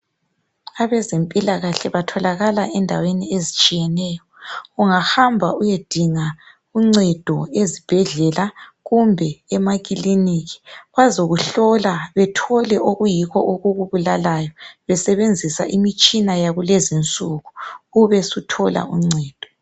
Abezempilakahle batholakala endaweni ezitshiyeneyo. Ungahamba uyedinga uncedo ezibhedlela kumbe emakilinika bazakukhlola bathole okuyikho okukubulalayo besebenzisa imitshina yakulezi insuku ubusuthola uncedo.